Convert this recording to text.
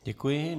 Děkuji.